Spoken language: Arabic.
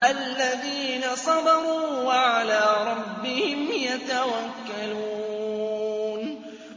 الَّذِينَ صَبَرُوا وَعَلَىٰ رَبِّهِمْ يَتَوَكَّلُونَ